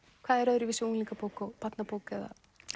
hvað er öðruvísi í unglingabók og barnabók eða